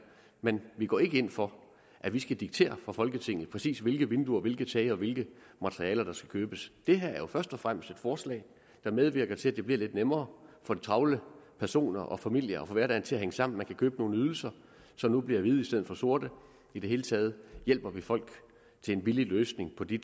men vi går ikke ind for at vi skal diktere fra folketingets side præcis hvilke vinduer hvilke tage og hvilke materialer der skal købes det her er jo først og fremmest et forslag der medvirker til at det bliver lidt nemmere for travle personer og familier at få hverdagen til at hænge sammen man kan købe nogle ydelser som nu bliver hvide i stedet for sorte i det hele taget hjælper vi folk til en billig løsning på de